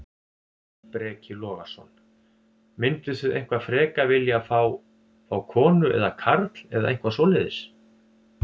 Breki Logason: Mynduð þið eitthvað frekar vilja fá, fá konu eða karl eða eitthvað svoleiðis?